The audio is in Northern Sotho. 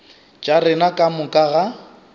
tša rena ka moka ga